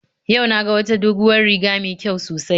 Yau na ga wata doguwar riga mai kyau sosai